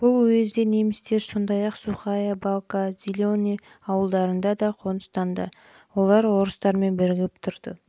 бұл уезде немістер сондай-ақ сухая балка және зеленый ауылдарында да қоныстанды олар орыстармен бірігіп тұрды